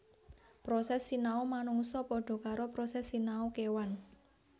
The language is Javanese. Proses sinau manungsa padha karo proses sinau kèwan